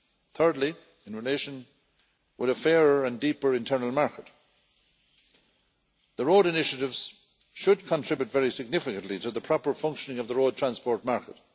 Thirdly, in relation with a fairer and deeper internal market the road initiatives should contribute very significantly to the proper functioning of the road transport market.